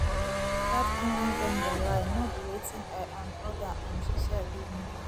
that online vendor lie no be wetin i um order um she sell give me